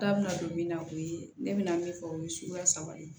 Da bɛna don min na o ye ne bɛna min fɔ o ye suguya saba de ye